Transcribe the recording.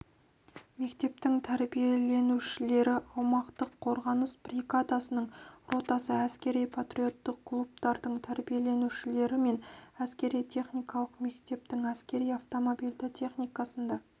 мектептің тәрбиеленушілері аумақтық қорғаныс бригадасының ротасы әскери-патриоттық клубтардың тәрбиеленушілері мен әскери-техникалық мектептің әскери автомобильді техникасында